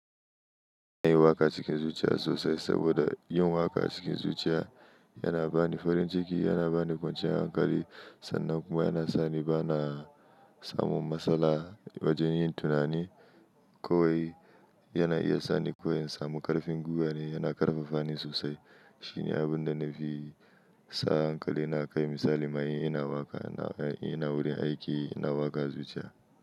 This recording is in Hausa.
Na yi waƙa cikin zuciya sosai, saboda yin waƙa cikin zuciya, yana ba ni farin ciki, yana ba ni kwanciyar hankali, sannan kuma yana sa ni bana, samun matsala wajen yin tunani, kowai yana iya sa ni koyin samun ƙarfin guga ne, yana ƙarfafa ni sosai. Shi ne abun da na fi sa hankali a kai misali ma in ina waƙa, ina wurin aiki ina waƙa zuciya.